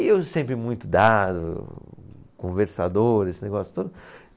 E eu sempre muito dado, conversador, esse negócio todo.